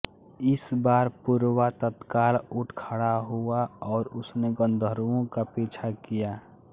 इस बार पुरुरवा तत्काल उठ खड़ा हुआ और उसने गन्धर्वों का पीछा किया